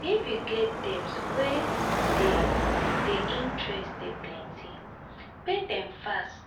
if you get debt wey di di interest dey plenty pay dem fast